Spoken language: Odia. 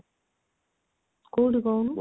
କଉଠି କହୁନୁ?